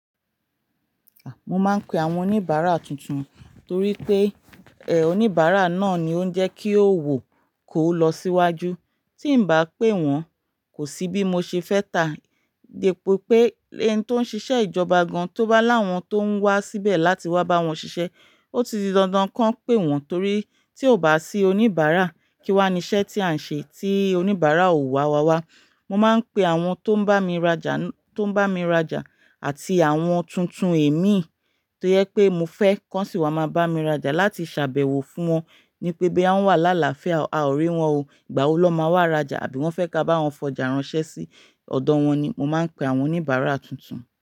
Mo máa ń pe àwọn oníbàárà tuntun torí pé, oníbàárà náà ni ó ń jẹ́ kí òwò kó lọ síwájú. Tí n bá pè wọ́n, kò sí bí mo ṣe fẹ́ tá. Dípo pé ẹn tó ń ṣiṣẹ́ ìjọba gan-an tó bá láwọn tó ń wá síbẹ̀ láti wá bá wọn ṣiṣẹ́, ó ti di dandan kan pè wọ́n torí tí ò bá ṣí oníbàárà kí wá ní iṣẹ́ tí à ń ṣe tí oníbàárà ò wá wá wá. Mo máa ń pe àwọn tó ń bá mi rajà, tó ń bá mi rajà àti àwọn tuntun èmi tó jẹ pé mo fẹ́ kan sí i wá máa bá mi rajà láti ṣàbẹ̀wò fún wọn ní pé boya wọ́n wà lálàáfíà, a ò rí wọn o. Ìgbàwo na máa wá rajà àbí wọ́n fẹ́ ká bá wọn fọ̀jà ránṣẹ́ sí ọ̀dọ̀ wọn ni. Mo máa ń pe àwọn oníbàárà tuntun.